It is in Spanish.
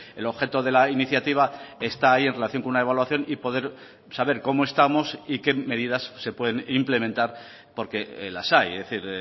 el objeto de la iniciativa está ahí en relación con una evaluación y poder saber cómo estamos y qué medidas se pueden implementar porque las hay es decir